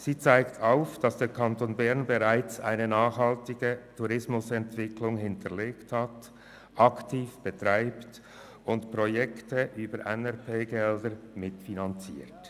Er zeigt auf, dass der Kanton Bern bereits eine nachhaltige Tourismusentwicklung aktiv betreibt und Projekte über Gelder der Neuen Regionalpolitik (NRP) mitfinanziert.